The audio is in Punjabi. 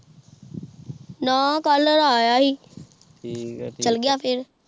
ਨਾ ਕਲ ਦਾ ਆਯਾ ਹੀ ਚਾਲ ਗਿਆ ਫੇਰ